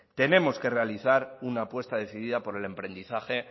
tenemos que realizar una apuesta decidida por el emprendizaje